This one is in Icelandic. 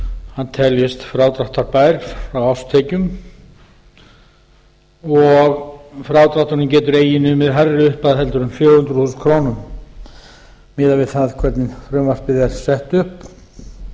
hann teljist frádráttarbær frá árstekjum og frádrátturinn getur eigi numið hærri upphæð en fjögur hundruð þúsund krónur miðað við það hvernig frumvarpið er sett upp hér er